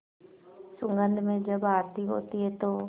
सुगंध में जब आरती होती है तो